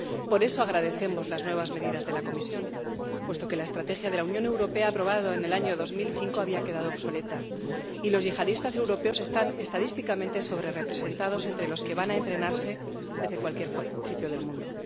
Por eso, agradecemos las nuevas medidas de la Comisión, puesto que la estrategia de la Unión Europea aprobada en el año 2005 había quedado obsoleta y los yihadistas europeos están estadísticamente sobrerrepresentados entre los que van a entrenarse desde cualquier sitio del mundo.